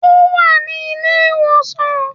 Ó wà ní ilé ìwòsàn